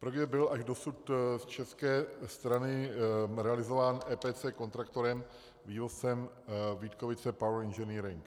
Projekt byl až dosud z české strany realizován EPC kontraktorem vývozcem Vítkovice Power Engineering.